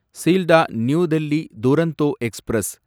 Sealdah New Delhi Duronto express